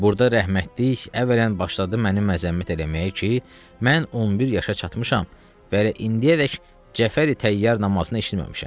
Burda rəhmətlik əvvələn başladı məni məzəmmət eləməyə ki, mən 11 yaşa çatmışam və indiyədək Cəfəri Təyyar namazını eşitməmişəm.